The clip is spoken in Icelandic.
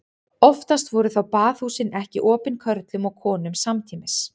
Oftast voru þó baðhúsin ekki opin körlum og konum samtímis.